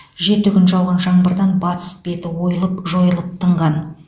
жеті күн жауған жаңбырдан батыс беті ойылып жойылып тынған